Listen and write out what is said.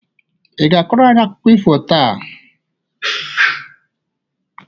Ị ga-akọrọ anyị akụkọ ifo taa?